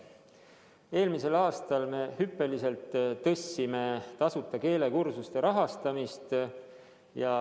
Eelmisel aastal me hüppeliselt tõstsime tasuta keelekursuste rahastamist.